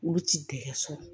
Olu ti dɛgɛ so